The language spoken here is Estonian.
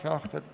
Aitäh!